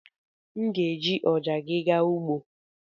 M ga-eji ọja gị gaa ugbo.